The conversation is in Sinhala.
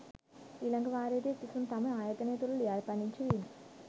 ඊළඟ වාරයේදී සිසුන් තම ආයතනය තුළ ලියාපදිංචි වීම